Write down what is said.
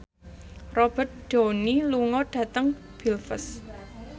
Robert Downey lunga dhateng Belfast